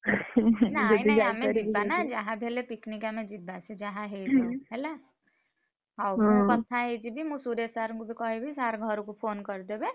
ନାଇଁ ନାଇଁ ଆମେ ଯିବାନା ଯାହାବି ହେଲେ picnic ଆମେ ଯିବା। ସିଏ ଯାହା ହେଇଯାଉ ହେଲା, ହଉ ମୁଁ କଥା ହେଇଯିବି। ମୁଁ ସୁରେଶ sir ଙ୍କୁ ବି କହିବି sir ଘରକୁ phone କରିଦେବେ।